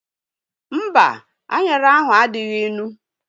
Mba, anyara ahu adịghị ịnụ